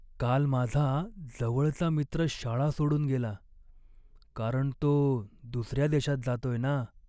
काल माझा जवळचा मित्र शाळा सोडून गेला, कारण तो दुसऱ्या देशात जातोय ना!